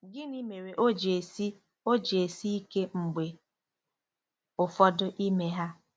Gịnị mere o ji esi o ji esi ike mgbe ụfọdụ ime ha?